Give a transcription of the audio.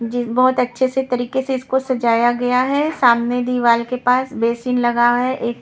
बहोत अच्छे से तरीके से इसको सजाया गया है सामने दीवाल के पास बेसिन लगा है।